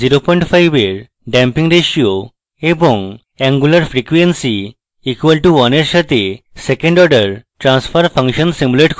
0 5 এর damping ratio এবং angular frequency equal to 1 এর সাথে second order transfer function simulate করুন